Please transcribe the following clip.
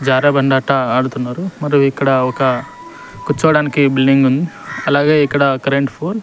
జారే బండ ఆట ఆడుతున్నారు మరియు ఇక్కడ ఒక కూర్చోవడానికి బిల్డింగ్ ఉంది అలాగే ఇక్కడ కరెంటు పోల్ --